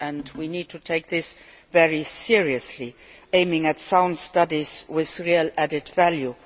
We need to take this very seriously, aiming for sound studies with real added value.